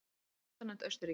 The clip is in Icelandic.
Fastanefnd Austurríki